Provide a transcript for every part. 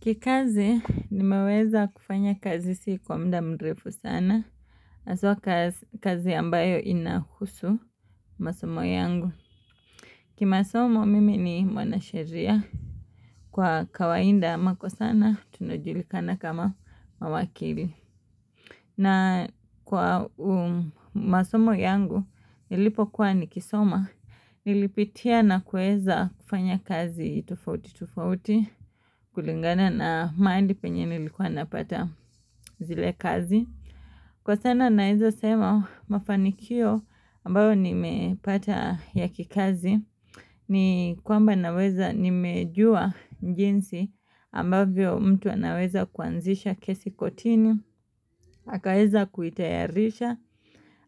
Kikazi nimeweza kufanya kazi si kwa muda mrefu sana. Haswa kazi ambayo inahusu masomo yangu. Kimasomo mimi ni mwanasheria. Kwa kawaida ama kwa sana tunajulikana kama mawakili. Na kwa masomo yangu nilipokuwa nikisoma. Nilipitia na kuweza kufanya kazi tofauti tofauti. Kulingana na mahali penye nilikuwa napata zile kazi. Kwa sana naweza sema mafanikio ambayo nimepata ya kikazi ni kwamba naweza nimejua jinsi ambavyo mtu anaweza kuanzisha kesi kortini. Akaweza kuitayarisha,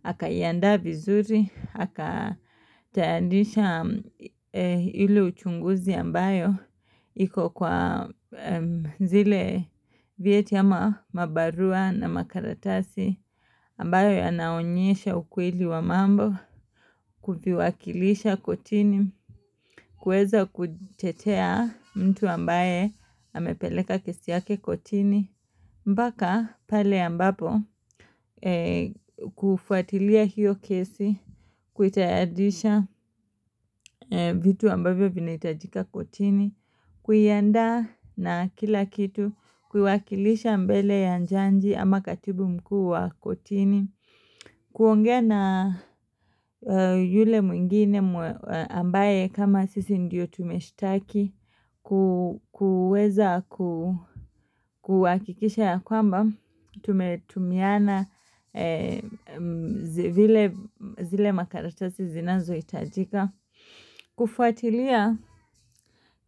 akaiandaa vizuri, aka tayarisha ile uchunguzi ambayo iko kwa zile vyeti ama mabarua na makaratasi ambayo yanaonyesha ukweli wa mambo kuviwakilisha kortini kuweza kutetea mtu ambaye amepeleka kesi yake kortini mpaka pale ambapo kufuatilia hiyo kesi, kuitayarisha vitu ambavyo vinahitajika kortini, kuiandaa na kila kitu, kuiwakilisha mbele ya jaji ama katibu mkuu wa kortini. Kuongea na yule mwingine ambaye kama sisi ndio tumeshitaki kuweza kuhakikisha ya kwamba Tumetumiana zile makaratasi zinazohitajika kufuatilia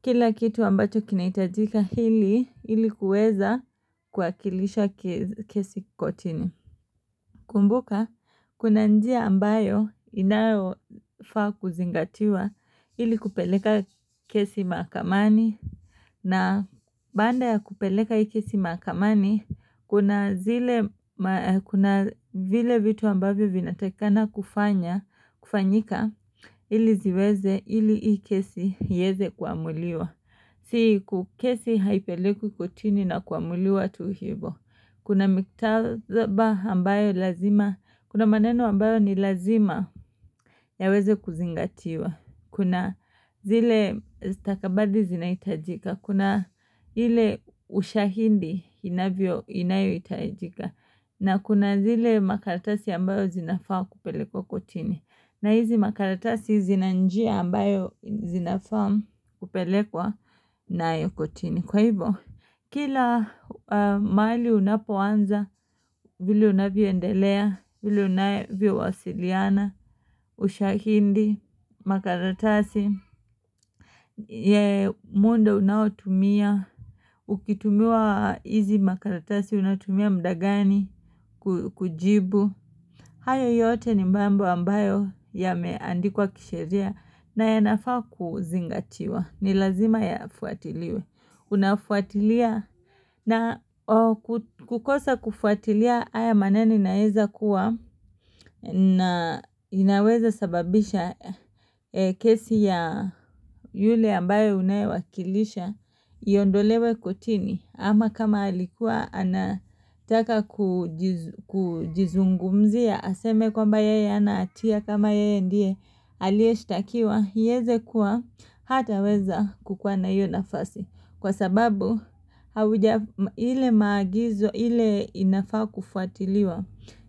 kila kitu ambacho kinahitajika ili ili kuweza kuwakilisha kesi kortini Kumbuka kuna njia ambayo inayofaa kuzingatiwa ili kupeleka kesi mahakamani na baada ya kupeleka hii kesi mahakamani kuna zile kuna vile vitu ambavyo vinatakikana kufanya kufanyika ili ziweze ili hii kesi iwezekuamuliwa. Si ku kesi haipelekwi kortini na kuamuliwa tu hivyo. Kuna miktaba ambayo lazima. Kuna maneno ambayo ni lazima yaweze kuzingatiwa. Kuna zile stakabadhi zinahitajika. Kuna ile ushahidi inavyo inayohitajika. Na kuna zile makaratasi ambayo zinafaa kupelekwa kortini na hizi makaratasi zina njia ambayo zinafaa kupelekwa nayo kortini Kwa hivyo, kila mahali unapoanza, vile unavyoendelea, vile unavyowasiliana, ushahidi, makaratasi ya muda unaotumia, ukitumiwa hizi makaratasi unatumia muda gani kujibu hayo yote ni mambo ambayo yameandikwa kisheria na yanafaa kuzingatiwa ni lazima yafuatiliwe unafuatilia na kukosa kufuatilia haya maneno inaweza kuwa na inaweza sababisha kesi ya yule ambaye unayewakilisha iondolewe kortini ama kama alikuwa anataka kujizungumzia aseme kwamba yeye hana hatia kama yeye ndiye aliyeshtakiwa iweze kuwa hataweza kukuwa na hiyo nafasi kwa sababu hauja ile maagizo ile inafaa kufuatiliwa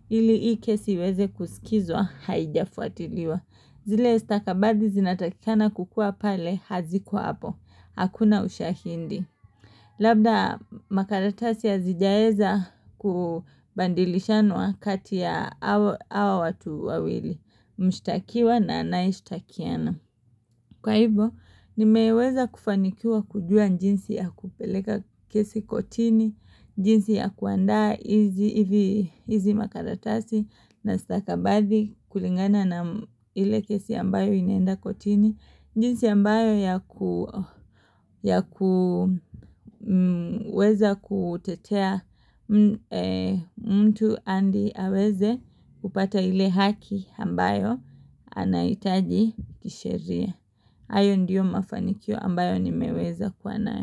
ili hii kesi iweze kusikizwa haijafuatiliwa zile stakabadhi zinatakikana kukuwa pale hazikuwa hapo hakuna ushahidi labda makaratasi hazijaweza kubadilishanwa kati ya hawa watu wawili mshtakiwa na anayeshitakiana Kwa hivyo, nimeweza kufanikiwa kujua jinsi ya kupeleka kesi kortini, jinsi ya kuandaa hizi hivi hizi makaratasi na stakabadhi kulingana na ile kesi ambayo inaenda kortini. Jinsi ambayo ya kuweza kutetea mtu hadi aweze kupata ile haki ambayo anahitaji kisheria. Hayo ndio mafanikio ambayo nimeweza kuwa nayo.